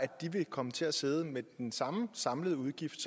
de vil komme til at sidde med den samme samlede udgift